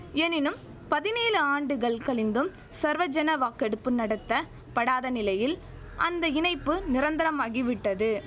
எனினும் பதினேழு ஆண்டுகள் கழிந்தும் சர்வஜன வாக்கெடுப்பு நடத்த படாத நிலையில் அந்த இணைப்பு நிரந்தரமாகிவிட்டது